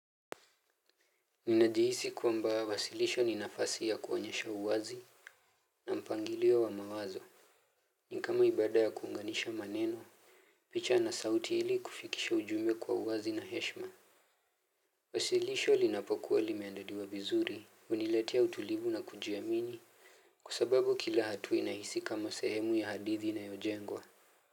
Ninajihisi kuamba wasilisho ninafasi ya kuonyesha uwazi na mpangilio wa mawazo. Ni kama ibada ya kuunganisha maneno. Picha na sauti ili kufikisha ujumbe kwa uwazi na heshma. Wasilisho linapokuwa limeandaliwa vizuri huniletea utulivu na kujiamini. Kwa sababu kila hatua inahisi kama sehemu ya hadithi inayojengwa.